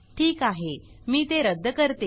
ठीक आहे मी ते रद्द करते